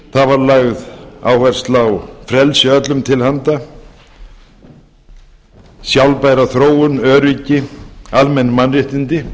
það var lögð áhersla á frelsi öllum til handa sjálfbæra þróun öryggi almenn mannréttindi